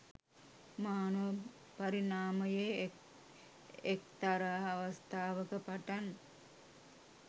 මානව පරිණාමයේ එක්තරා අවස්ථාවක පටන්